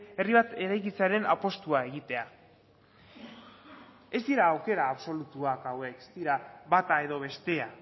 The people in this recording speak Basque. herri bat eraikitzearen apustua egitea ez dira aukera absolutuak hauek ez dira bata edo bestea